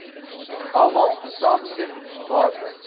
almal saamstem waardig